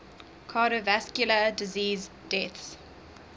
cardiovascular disease deaths